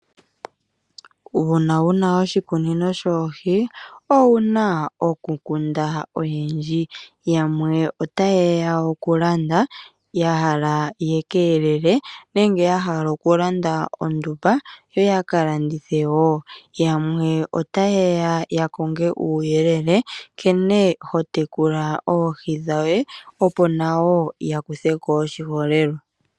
Uuna wuna oshikunino shoohi owuna oku kunda oshindji. Yamwe otaye ya okulanda ya hala yaka elele, nenge ya hala oku landa ondumba yo yaka landithe woo. Yamwe otaye ya konge uuyelele nkene ho tekula oohi dhoye, opo nayo ya kutheko oshiholelwa.